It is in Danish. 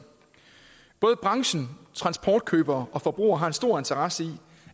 både branchen transportkøbere og forbrugere har en stor interesse i